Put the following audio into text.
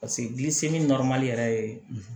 Paseke gili seli yɛrɛ ye